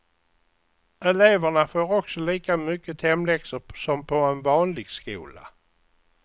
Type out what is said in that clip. Eleverna får också lika mycket hemläxor som på en vanlig skola.